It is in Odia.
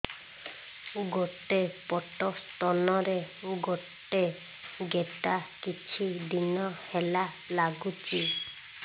ଗୋଟେ ପଟ ସ୍ତନ ରେ ଗୋଟେ ଗେଟା କିଛି ଦିନ ହେଲା ଲାଗୁଛି